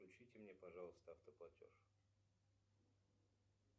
включите мне пожалуйста автоплатеж